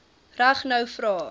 reg nou vra